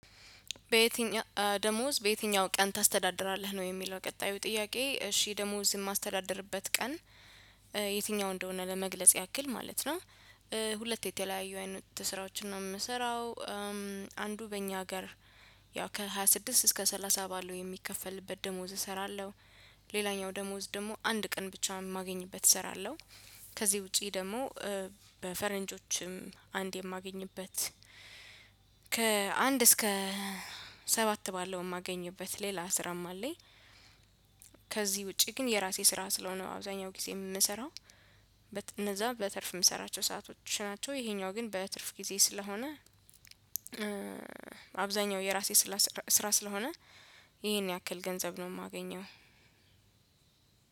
በየትኛው ደሞዝ በየትኛው ቀን ታስተዳድራለህ ነው የሚለው ቀጣዩ ጥያቄ? እሺ ደሞዝ የማስተዳድርበት ቀን የትኛው እንደሆነ ለመግለጽ ያክል ማለት ነው ሁለት የተለያየ አይነት ስራዎችን ነው የምሰራው። አንዱ በእኛ ሀገር ያው ከሃያ ስድስት እስከ ሰላሳ ባለው የሚከፈልበት ደሞዝ እሰራለሁ። ሌላኛው ደሞዝ ደግሞ አንድ ቀን ብቻ የማገኝበት እሰራለሁ። ከዚህ ውጪ ደግሞ በፈረንጆችም አንድ የማገኝበት ከአንድ እስከ ባለው የማገኝበት ሌላ ስራም አለኝ። ከዚህ ውጪ ግን የራሴ ስራ ስለሆነ አብዛኛው ጊዜ የምንሰራው እነዛ በትርፍ የምሰራቸው ሰአቶች ናቸው። ይሄኛው ግን በትርፍ ጊዜ ስለሆነ አብዛኛው የራሴ ስራ ስለሆነ ይሄን ያክል ገንዘብ ነው የማገኘው።